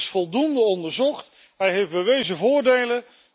Ze is voldoende onderzocht, ze heeft bewezen voordelen.